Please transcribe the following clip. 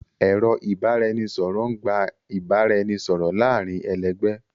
Ẹ̀rọ ìbánisọ̀rọ̀ ń gbà ìbára ẹni sọ̀rọ̀ láàárín ẹlẹgbẹ́